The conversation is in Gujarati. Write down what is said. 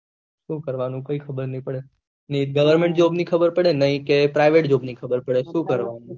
ખબર નહી પડે નહિ government નહી કે private જોબ ની ખબર પડે શું કરવાનું